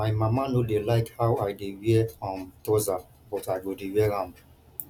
my mama no dey like how i dey wear um trouser but i go dey wear am